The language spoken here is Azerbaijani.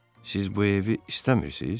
Siz bu evi istəmirsiz?